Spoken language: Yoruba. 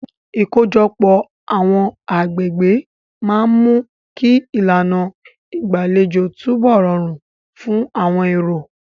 Ìkójọpọ̀ àwọn agbègbè máa ń mú kí ìlànà ìgbàlejò túbọ̀ rọrùn fún àwọn èrò.